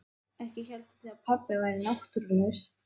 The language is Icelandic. Ekki hélduð þið að pabbi væri náttúrulaus?